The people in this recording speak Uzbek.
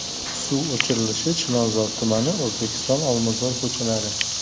Suv o‘chirilishi Chilonzor tumani: O‘zbekiston, Olmazor ko‘chalari.